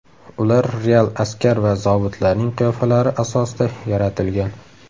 Ular real askar va zobitlarning qiyofalari asosida yaratilgan.